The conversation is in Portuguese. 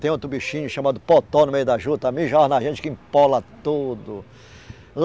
Tem outro bichinho chamado potó, no meio da juta, mijava na gente, que empola tudo.